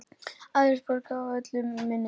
Aðrar borgir eru öllu minni.